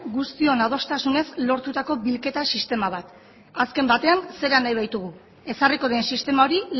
guztion adostasunez lortutako bilketa sistema bat azken batean zera nahi baitugu ezarriko den sistema hori